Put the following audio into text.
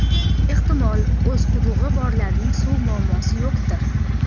Ehtimol, o‘z qudug‘i borlarning suv muammosi yo‘qdir.